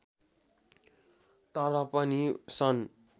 “तर पनि सन्